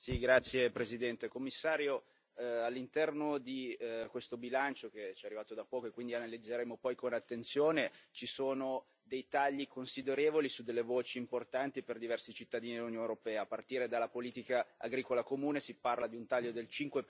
Signor Presidente, onorevoli colleghi, Commissario, all'interno di questo bilancio, che ci è arrivato da poco e che quindi analizzeremo poi con attenzione, ci sono dei tagli considerevoli su delle voci importanti per diversi cittadini dell'Unione europea, a partire dalla politica agricola comune si parla di un taglio del